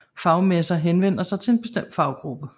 Fagmesser henvender sig til en bestemt faggruppe